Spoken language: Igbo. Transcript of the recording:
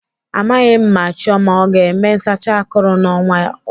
Amaghị m ma Chioma ọ ga-eme nsacha akụrụ n'ọnwa ọzọ.